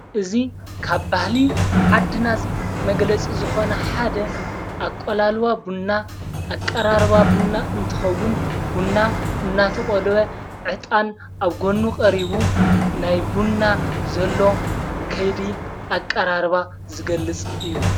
እዚ ካብ ባህሊ ዓድና መግለጽ ዝኾነ ሓደ ኣቋላልባ ቡና ኣቃራርባ ቡና እንትኸውን ቡንና እናተቖልወ ዕጣን ኣብ ጐኑ ቐሪቡ ናይ ቡና ዘሎ ከይዲ ኣቀራርባ ዝገልጽ እዩ።